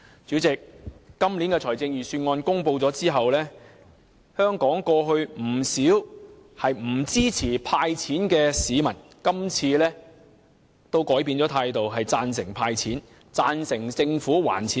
主席，在今年預算案公布後，不少過去不支持"派錢"的香港市民也改變了態度，贊成"派錢"，贊成政府還富於民。